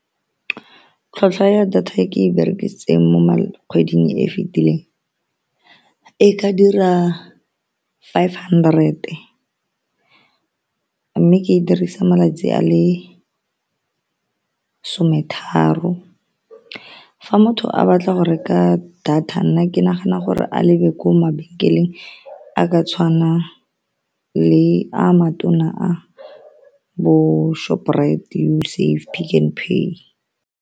Tlhwatlhwa ya data e ke e berekisitseng mo kgweding e e fitileng e ka dira five hundred, mme ke e dirisang malatsi a le some tharo. Fa motho a batla go reka data, nna ke nagana gore a lebe ko mabenkeleng a ka tshwana le a matona a bo Shoprite, Usave, Pick n Pay.